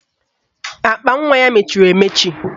Akpanwa ya mechiri emechi